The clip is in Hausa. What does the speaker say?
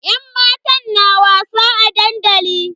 Yan matan na wasa a dandali.